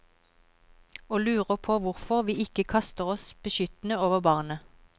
Og lurer på hvorfor vi ikke kaster oss beskyttende over barnet.